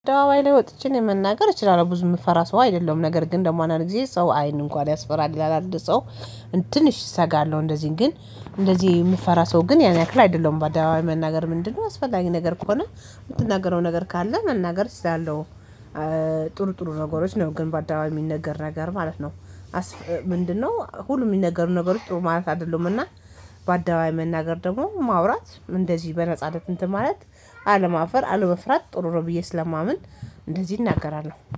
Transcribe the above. አደባባይ ላይ ወጥቼ እኔ መናገር እችላለሁ ብዙ የምፈራ ሰው አይደለም ነገር ግን ደግሞ አንድ ጊዜ ሰው አይን እንኳን ያስፈራል ይላል ሰው ትንሽ እሰጋለሁ እንደዚህ ግን እንደዚህ የምፈራ ሰው ግን ያን ያክል አይደለም ባደባባይ መናገር ምንድነው አስፈላጊ ነገር ከሆነ የምትናገረው ነገር ካለ መናገር እችላለሁ። ጥሩ ጥሩ ነገሮች ነው ግን በአደባባይ የሚነገር ነገር ማለት ነው። ምንድነው ሁሉ የሚነገሩ ነገሮች ጥሩ ማለት አይደሉም? እና በአደባባይ መናገር ደግሞ ማውራት እንደዚህ በነጻነት እንትን ማለት አለማፈር አለመፍራት ጥሩ ነው ብየ ስለማምን። እንደዚህ እናገራለሁ